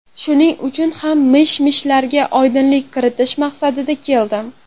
Shuning uchun ham mish-mishlarga oydinlik kiritish maqsadida keldim.